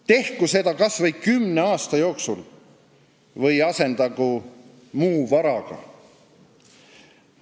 Tehku seda kas või kümne aasta jooksul või asendagu muu varaga.